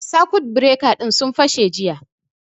Sakut bireka ɗin sun fashe jiya